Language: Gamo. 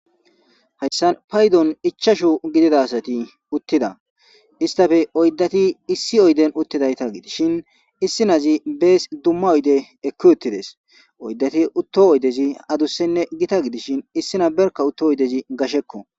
hayssan paydon ichashu gidida sati uttida istafe oyddati issi oyden uttidayta gidishin issinazi bees dumma oyde ekki uttides oyddati utto oydezi adussenne gita gidishin issina berka utto oydezi gashekko